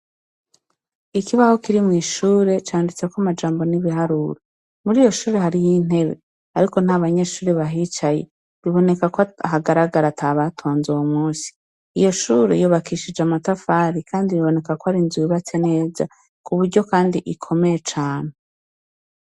Ikibaho kiri mw'ishure candutseko amajambo n'ibiharura muri iyo shure hari y'intebe, ariko nta banyeshuri bahicaye biboneka ko ahagaragara ata batwanze wo musi iyo shure yobakishije amatafari, kandi biboneka ko arinzubibatse neza ku buryo, kandi ikomeye cane.